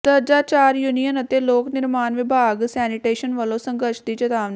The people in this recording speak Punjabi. ਦਰਜਾ ਚਾਰ ਯੂਨੀਅਨ ਅਤੇ ਲੋਕ ਨਿਰਮਾਣ ਵਿਭਾਗ ਸੈਨੀਟੇਸ਼ਨ ਵੱਲੋਂ ਸੰਘਰਸ਼ ਦੀ ਚੇਤਾਵਨੀ